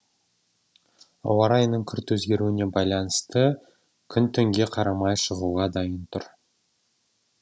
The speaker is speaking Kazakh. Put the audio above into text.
ауа райының күрт өзгеруіне байланысты күн түнге қарамай шығуға дайын тұр